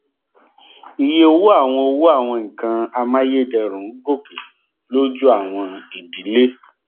iye owó àwọn owó àwọn nnkan amáyédẹrùn ń gòkè lójú àwọn idílé